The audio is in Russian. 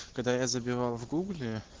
когда я забивал в гугле